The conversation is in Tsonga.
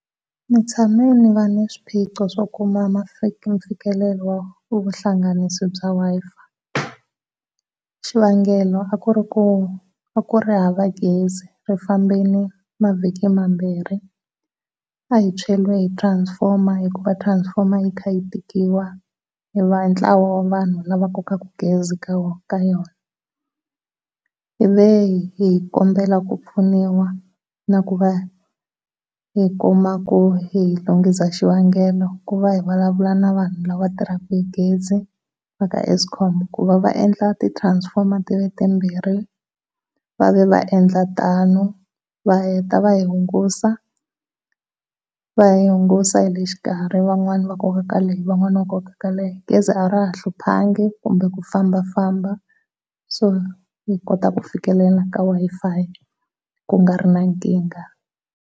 Ndzi tshame ndzi va na swiphiqo swo kuma mfikelelo wa vuhlanganisi bya Wi-Fi, xivangelo a ku ri ku a ku ri hava gezi ri fambile mavhiki mambirhi a hi tshweriwe hi transformer hikuva transformer yi kha yi tikiwa hi va hi ntlawa wa vanhu lava ka kokaku gezi ka wona ka yona. Ivi hi kombela ku pfuniwa na ku va hi kuma ku hi lunghisa xivangelo ku va hi vulavula na vanhu lava va tirhaka hi gezi va ka Eskom ku va va endla transformer ti va timbirhi. Va ve va endla tano va heta va hi hungusa, va hi hungusa hi le xikarhi van'wani va koka ka leyi van'wana va koka ka leyi gezi a ra ha hluphangi kumbe ku fambafamba so hi kota ku fikelela ka Wi-Fi ku nga ri na nkingha.